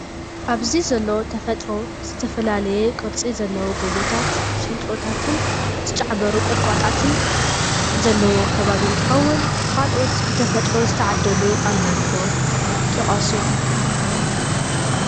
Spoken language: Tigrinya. ኣብዚ ዘሎ ተፈጥሮ ዝተፈላለየ ቅርፂ ዘለዎ ጎቦታት ሽንጥሮታትን ዝጫዕበሩ ቆጥቋታትን ዘለዎ ከባቢ እንትከውን ካልኦት ብተፈጥሮ ዝተዓደሉ ኣለው ዶ ? ጥቀሱ ?